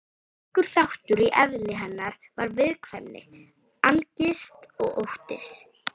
Ríkur þáttur í eðli hennar var viðkvæmni, angist og ótti.